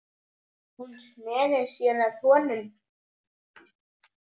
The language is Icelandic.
Hún sneri sér að honum.